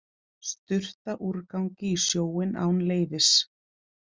Sturta úrgangi í sjóinn án leyfis